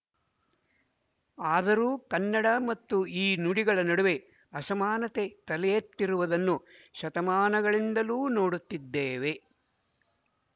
ಆದರೂ ಕನ್ನಡ ಮತ್ತು ಈ ನುಡಿಗಳ ನಡುವೆ ಅಸಮಾನತೆ ತಲೆಯೆತ್ತಿರುವುದನ್ನು ಶತಮಾನಗಳಿಂದಲೂ ನೋಡುತ್ತಿದ್ದೇವೆ